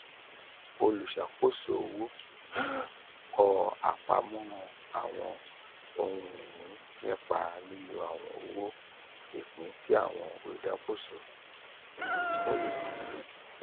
oluṣakoso owo; kọ apamo awọn ohun-ini nipa lilo awọn owo ipin ti awọn oludokoowo ra.